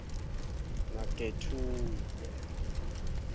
nagethude